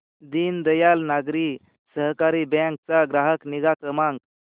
Deendayal Nagari Sahakari bank चा ग्राहक निगा क्रमांक